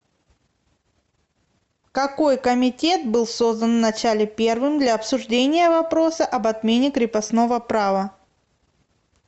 какой комитет был создан в начале первым для обсуждения вопроса об отмене крепостного права